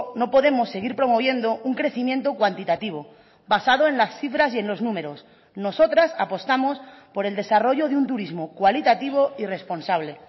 no podemos seguir promoviendo un crecimiento cuantitativo basado en las cifras y en los números nosotras apostamos por el desarrollo de un turismo cualitativo y responsable